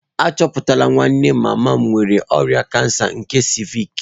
Achọpụtala nwanne mama m nwere ọrịa kansa nke ciivịc